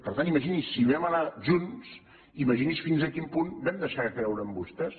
per tant imagini’s si vam anar junts imagini’s fins a quin punt vam deixar de creure en vostès